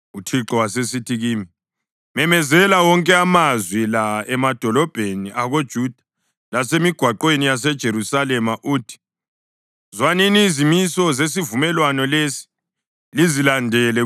UThixo wasesithi kimi, “Memezela wonke amazwi la emadolobheni akoJuda lasemigwaqweni yaseJerusalema uthi: ‘Zwanini izimiso zesivumelwano lesi lizilandele.